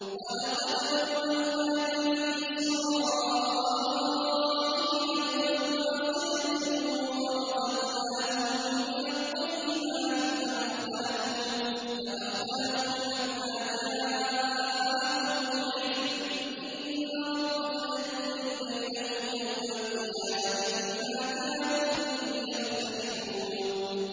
وَلَقَدْ بَوَّأْنَا بَنِي إِسْرَائِيلَ مُبَوَّأَ صِدْقٍ وَرَزَقْنَاهُم مِّنَ الطَّيِّبَاتِ فَمَا اخْتَلَفُوا حَتَّىٰ جَاءَهُمُ الْعِلْمُ ۚ إِنَّ رَبَّكَ يَقْضِي بَيْنَهُمْ يَوْمَ الْقِيَامَةِ فِيمَا كَانُوا فِيهِ يَخْتَلِفُونَ